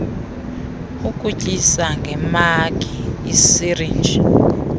ukutyisa ngemagi isirinji